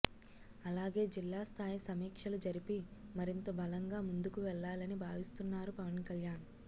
అలాగే జిల్లా స్థాయి సమీక్షలు జరిపి మరింత బలంగా ముందుకు వెళ్ళాలని భావిస్తున్నారు పవన్ కళ్యాణ్